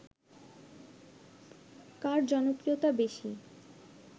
কার জনপ্রিয়তা বেশি ?